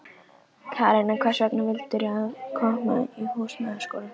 Karen: En hvers vegna valdirðu að koma í Húsmæðraskólann?